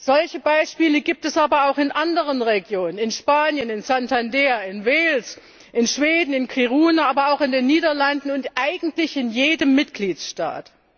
Solche Beispiele gibt es aber auch in anderen Regionen in Spanien in Santander, in Wales, in Schweden in Kiruna, aber auch in den Niederlanden und eigentlich in jedem Mitgliedstaat.